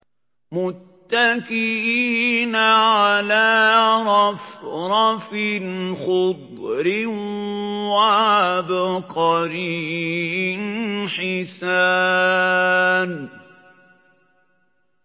مُتَّكِئِينَ عَلَىٰ رَفْرَفٍ خُضْرٍ وَعَبْقَرِيٍّ حِسَانٍ